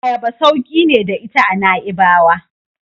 Ayaba sauki ne da ita a Na'ibawa.